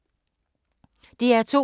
DR2